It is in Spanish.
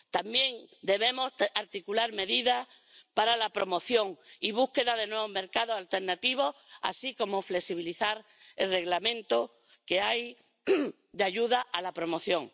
También debemos articular medidas para la promoción y búsqueda de nuevos mercados alternativos, así como flexibilizar el Reglamento de ayuda a la promoción.